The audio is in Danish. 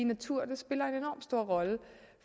natur spiller en enorm stor rolle